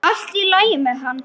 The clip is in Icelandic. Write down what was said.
Allt í lagi með hann!